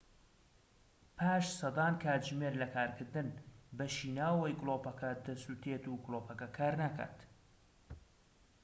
پاش سەدان کاتژمێر لە کارکردن بەشی ناوەوەی گلۆپەکە دەسوتێت و گلۆپەکە کارناکات